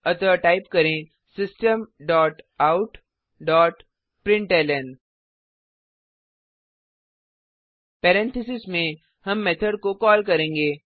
अतः टाइप करें system dot out dot println parenthesis में हम मेथड को कॉल करेंगे